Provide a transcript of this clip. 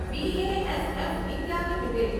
BASF India limited